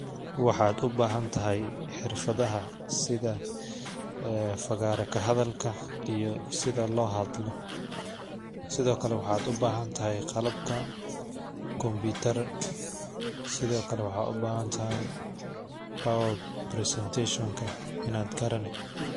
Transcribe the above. Waxaa u bahantahy xirfada sitha ee fagara kahadhalka ee hadii si lo hadlo sithokale waxaa u bahantahay qalabka computer ro sithokale waxaa u bahantahay in aagarani power presentation ka.